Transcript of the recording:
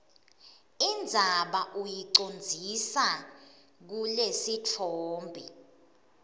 indzaba uyicondzise kulesitfombe